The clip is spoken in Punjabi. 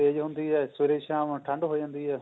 ਧੁੱਪ ਤੇਜ਼ ਹੁੰਦੀ ਹੈ ਸਵੇਰੇ ਸ਼ਾਮ ਠੰਡ ਹੋ ਜਾਂਦੀ ਹੈ